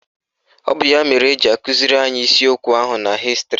Ọ bụ ya mere eji akụziri anyị isiokwu ahu na Hịstịrị.